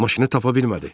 Maşını tapa bilmədi.